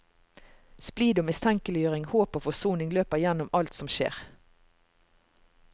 Splid og mistenkeliggjøring, håp og forsoning løper igjennom alt som skjer.